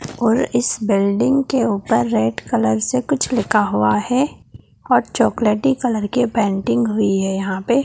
और इस बिल्डिंग के ऊपर रेड कलर से कुछ लिखा हुआ है और चॉकलेटी कलर की पेंटिंग हुई है यहां पे --